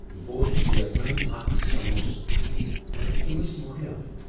بہٕ ابوسس یژھان اکھ سموسہٕ مگر تم ٲسۍ مۄکلیمٕتۍ۔